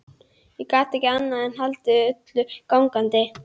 Ég gat ekki annað en haldið öllu gangandi.